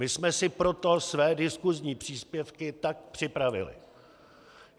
My jsme si proto své diskusní příspěvky tak připravili.